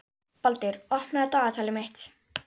Borgar, pantaðu tíma í klippingu á mánudaginn.